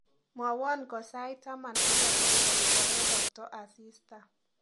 Mwawon konsait taman ak agenge kogarorokto asista